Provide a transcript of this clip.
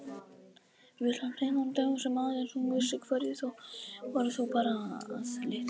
Full af leyndardómum sem aðeins hún vissi hverjir voru þó bara að litlu leyti.